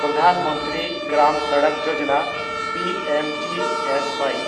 Pradhan Mantri Gram Sadak Yojana (P M G S Y)